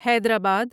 حیدر آباد